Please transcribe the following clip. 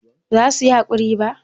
ba za su yi hakuri ba